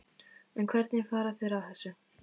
En hvernig fara þeir að þessu?